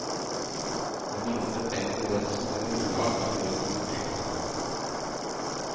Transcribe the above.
Ved minste tegn til redsel eller ubehag kan vedkommende trykke på knappen.